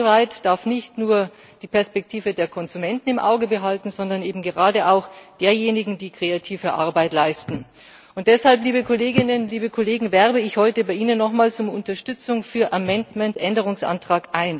Copyright darf nicht nur die Perspektive der Konsumenten im Auge behalten, sondern eben gerade auch derjenigen, die kreative Arbeit leisten. Deshalb, liebe Kolleginnen, liebe Kollegen, werbe ich heute bei Ihnen nochmals um Unterstützung für Änderungsantrag